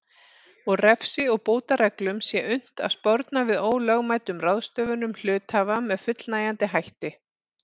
og refsi og bótareglum sé unnt að sporna við ólögmætum ráðstöfunum hluthafa með fullnægjandi hætti.